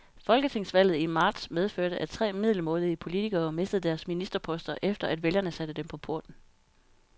Folketingsvalget i marts medførte, at tre middelmådige politikere mistede deres ministerposter, efter at vælgerne satte dem på porten.